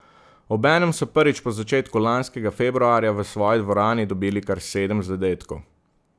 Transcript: Obenem so prvič po začetku lanskega februarja v svoji dvorani dobili kar sedem zadetkov.